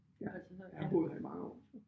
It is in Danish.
Ja jeg har boet her i mange år så